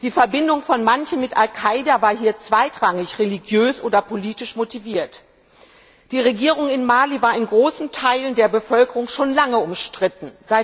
Die Verbindung von manchen mit Al Kaida war hier zweitrangig religiös oder politisch motiviert. Die Regierung in Mali war in großen Teilen der Bevölkerung schon lange umstritten.